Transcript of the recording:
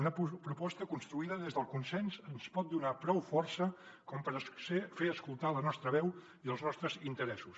una proposta construïda des del consens ens pot donar prou força com per fer escoltar la nostra veu i els nostres interessos